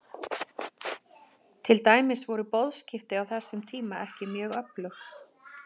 Til dæmis voru boðskipti á þessum tíma ekki mjög öflug.